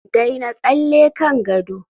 daina tsalle kan gado